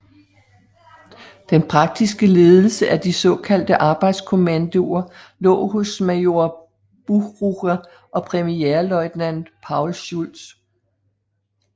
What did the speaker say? Den praktiske ledelse af de såkaldte arbejdskommandoer lå hos major Buchrucker og premierløjtnant Paul Schulz